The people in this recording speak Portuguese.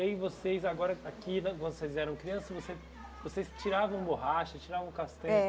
aí vocês, agora, aqui, quando vocês eram crianças, você vocês tiravam borracha, tiravam castanha?